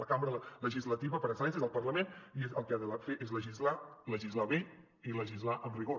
la cambra legislativa per excel·lència és el parlament i el que ha de fer és legislar legislar bé i legislar amb rigor